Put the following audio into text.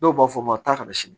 Dɔw b'a fɔ ma taa ka na sini